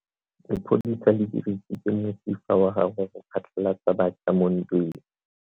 Lepodisa le dirisitse mosifa wa gagwe go phatlalatsa batšha mo ntweng.